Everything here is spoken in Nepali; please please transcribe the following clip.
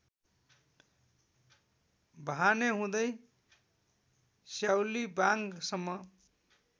वहाने हुँदै स्याउलीवाङसम्म